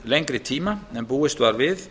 lengri tíma en búist var við